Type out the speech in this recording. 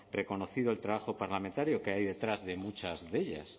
reconocido el trabajo parlamentario que hay detrás de muchas de ellas